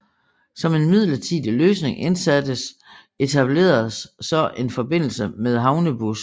Som en midlertidig løsning indsattes etableredes så en forbindelse med havnebus